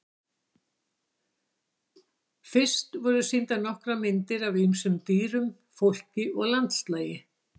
Fyrst voru sýndar nokkrar myndir af ýmsum dýrum, fólki og landslagi.